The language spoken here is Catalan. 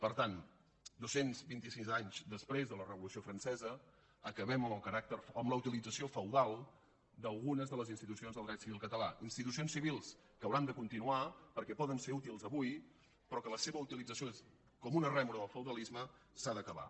per tant dos cents i vint sis anys després de la revolució francesa acabem amb la utilització feudal d’algunes de les institucions del dret civil català institucions civils que hauran de continuar perquè poden ser útils avui però que la seva utilització com una rèmora del feudalisme s’ha d’acabar